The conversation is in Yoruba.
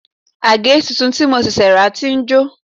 Àgè tuntun tí mo ṣẹ̀ṣẹ̀ rà ti ń jò